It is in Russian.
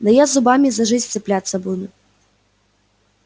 да я зубами за жизнь цепляться буду